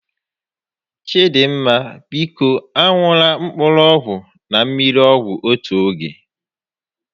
Chidinma, biko a ṅụla mkpụrụ ọgwụ na mmiri ọgwụ n'otu oge